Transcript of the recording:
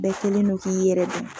Bɛɛ kɛlen no k'i yɛrɛ don.